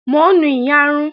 Mò ń nu iyarun